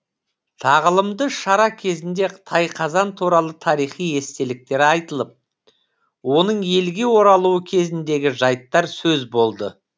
тағылымды шара кезінде тайқазан туралы тарихи естеліктер айтылып оның елге оралуы кезіндегі жайттар сөз болды